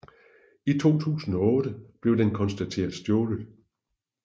I 2008 blev den konstateret stjålet